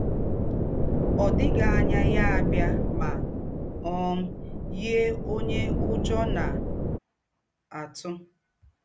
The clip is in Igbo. Ọ̀ dịghị ànyà yà bịà mà um yíé ǒnyé Ǔjọ́ na - àtụ̀.